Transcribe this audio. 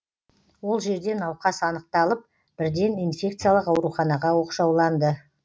ол жерде науқас анықталып бірден инфекиялық ауруханаға оқшауланды